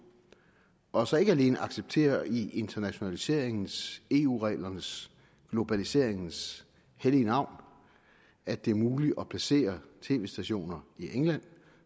og så ikke alene accepterer i internationaliseringens eu reglernes globaliseringens hellige navn at det er muligt at placere tv stationer i england